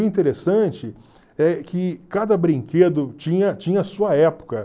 O interessante é que cada brinquedo tinha tinha a sua época.